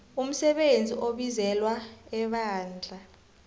umsebenzi obizelwe ebandla